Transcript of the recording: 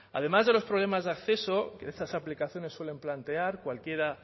además de los problemas de acceso que estas aplicaciones suelen plantear cualquiera